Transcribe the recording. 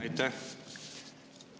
Aitäh!